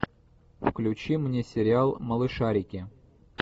включи мне сериал малышарики